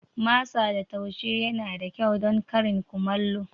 Masa da taushe yana da kyau don karin kumallo.